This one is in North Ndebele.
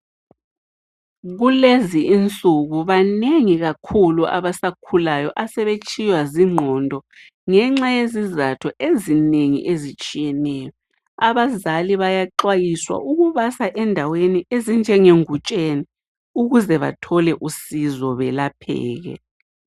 Kulezi insuku banengi kakhulu abasakhulayo asebetshiywa zigqondo ngenxa yezizatho ezinengi ezitshiyeneyo. Abazali bayaxwayiswa ukubasa endaweni ezinjenge Ngutsheni ukuze bathole usizo belapheke